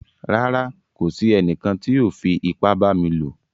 Rárá, kò sí ènìkàn tí o fí ìpà bá mi lọ.